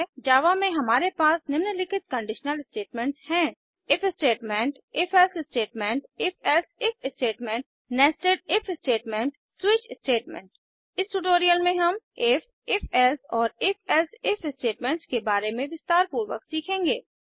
जावा में हमारे पास निम्नलिखित कंडीशनल स्टेटमेंट्स हैं if statement if else statement if else if statement nested if statement switch statement इस ट्यूटोरियल में हम इफ ifएल्से और ifएल्से इफ स्टेटमेंट्स के बारे में विस्तारपूर्वक सीखेंगे